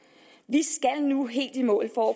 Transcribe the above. i nu helt i mål for